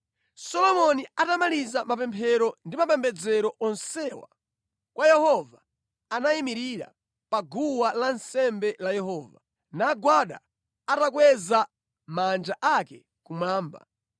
Solomoni atamaliza mapemphero ndi mapembedzero onsewa kwa Yehova, anayimirira pa guwa lansembe la Yehova, nagwada atakweza manja ake kumwamba.